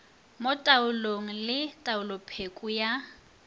mo taolong le taolopheko ya